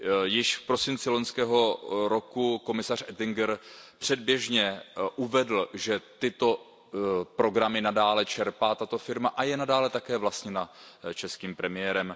Již v prosinci loňského roku komisař Oettinger předběžně uvedl, že tyto programy nadále čerpá tato firma a je nadále také vlastněna českým premiérem.